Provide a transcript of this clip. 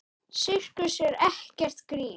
Sirkus er ekkert grín.